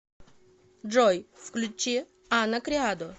джой включи ана криадо